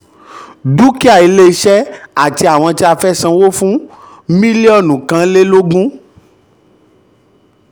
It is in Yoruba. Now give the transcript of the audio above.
dúkìá iléeṣẹ́ àti àti àwọn tí a fẹ́ sanwó fún mílíọ̀nù kan lélógún.